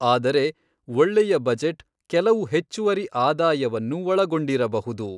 ಆದರೆ ಒಳ್ಳೆಯ ಬಜೆಟ್ ಕೆಲವು ಹೆಚ್ಚುವರಿ ಆದಾಯವನ್ನು ಒಳಗೊಂಡಿರಬಹುದು.